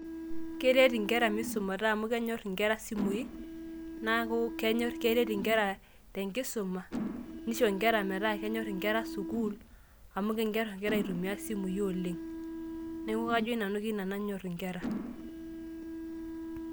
Keret inkera misumata amu kenyor inkera simui, naaku keret inkera tenkisuma nisho nkera metaa kenyor inkera sukuul. Amu enyor inkera aitumia isimui oleng'. Neeku kajo nanu keina nanyor inkera.